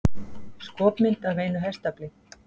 Skopmynd af einu hestafli.